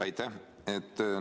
Aitäh!